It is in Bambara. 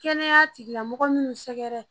Kɛnɛya tigilamɔgɔ minnu sɛgɛrɛ